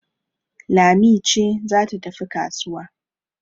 Lami ce za ta tafi kasuwa